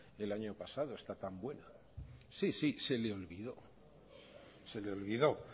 el año pasado esta tan buena sí sí se le olvidó